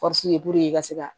i ka se ka